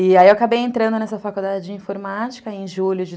E aí eu acabei entrando nessa faculdade de informática em julho de